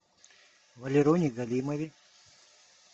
валероне галимове